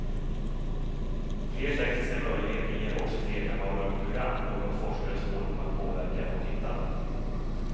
Fler tekniska möjligheter ger också fler kanaler och program, något forskare spår kommer att påverka vårt tittande.